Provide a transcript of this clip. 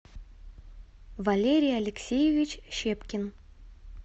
валерий алексеевич щепкин